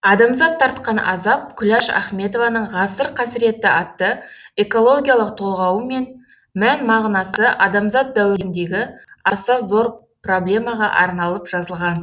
адамзат тартқан азап күләш ахметованың ғасыр қасіреті атты экологиялық толғауы мән мағынасы адамзат дәуіріндегі аса зор проблемаға арналып жазылған